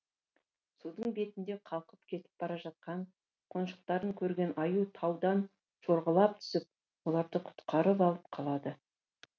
судың бетінде қалқып кетіп бара жатқан қонжықтарын көрген аю таудан жорғалап түсіп оларды құтқарып алып қалады